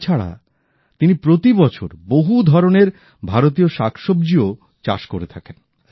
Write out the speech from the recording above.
তাছাড়া তিনি প্রতিবছর বহু ধরনের ভারতীয় শাকসবজিও চাষ করে থাকেন